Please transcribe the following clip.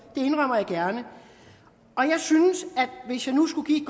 det indrømmer jeg gerne hvis jeg nu skulle give